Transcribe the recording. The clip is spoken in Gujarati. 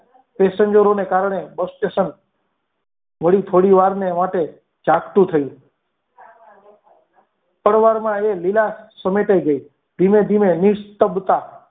pasenger ઓ ને કારણે bus station વાડી થોડી થોડી વાર ને માટે જાગતું થયું થોડીવારમાં એ લીલા સમેટાઈ ગઈ ધીમે ધીમે ની સપ્તા